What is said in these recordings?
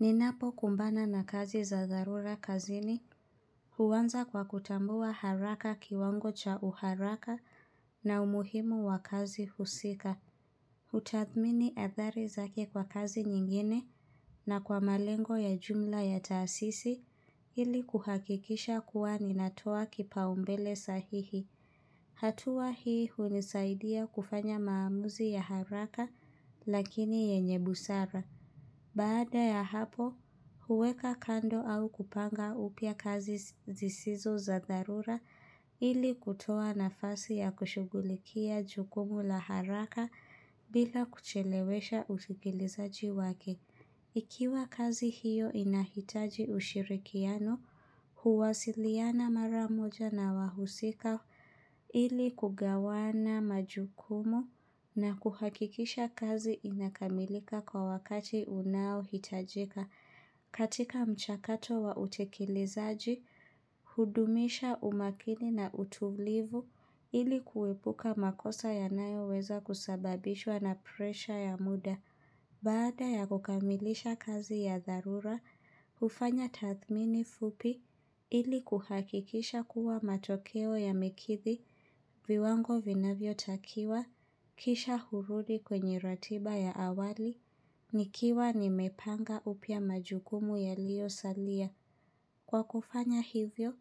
Ninapo kumbana na kazi za dharura kazini huanza kwa kutambua haraka kiwango cha uharaka na umuhimu wa kazi husika. Utathmini athari zake kwa kazi nyingine na kwa malengo ya jumla ya taasisi ili kuhakikisha kuwa ninatoa kipaombele sahihi. Hatua hii hunisaidia kufanya maamuzi ya haraka lakini yenye busara. Baada ya hapo, huweka kando au kupanga upya kazi zisizo za dharura ili kutoa na fasi ya kushughulikia jukumu la haraka bila kuchelewesha usikiliza jiwake. Ikiwa kazi hiyo inahitaji ushirikiano, huwasiliana maramoja na wahusika ili kugawana majukumu na kuhakikisha kazi inakamilika kwa wakati unao hitajika. Katika mchakato wa utekelezaji, hudumisha umakini na utulivu ili kuepuka makosa ya nayo weza kusababishwa na presha ya muda. Baada ya kukamilisha kazi ya dharura, hufanya tathmini fupi ili kuhakikisha kuwa matokeo ya mekidhi viwango vinavyo takiwa, kisha hurudi kwenye ratiba ya awali, nikiwa nimepanga upya majukumu ya liyo salia. Kwa kufanya hivyo,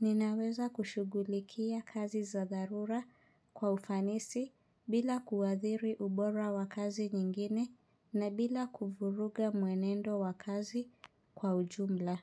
ninaweza kushughulikia kazi za dharura kwa ufanisi bila kuathiri ubora wa kazi nyingine na bila kuvuruga mwenendo wa kazi kwa ujumla.